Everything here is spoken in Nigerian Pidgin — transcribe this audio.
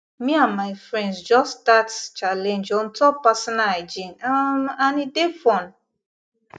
me and my friends just start challenge on top personal hygiene um and e dey fun